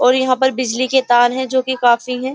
और यहां पर बिजली के तार हैं जो कि काफी है।